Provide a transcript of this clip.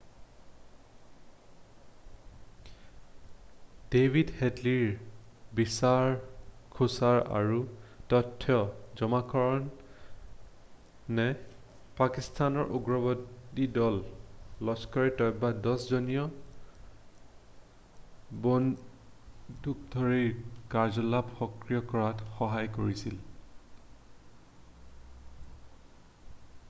David হেডলিৰ বিচাৰ খোচাৰ আৰু তথ্য জমাকৰণে পাকিস্তানৰ উগ্ৰবাদী দল লস্কৰ-ই-তৈবাৰ 10 জনীয়া বন্দুকধাৰীৰ কাৰ্যকলাপ সক্ৰিয় কৰাত সহায় কৰিছিল